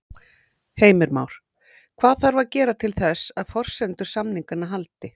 Heimir Már: Hvað þarf að gera til þess að forsendur samninganna haldi?